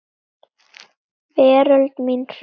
Veröld mín hrundi.